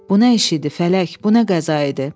Bu nə eş idi, Fələk, bu nə qəza idi?